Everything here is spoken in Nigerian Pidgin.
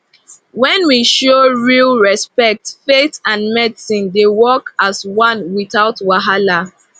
when we show real respect faith and medicine dey work as one without wahala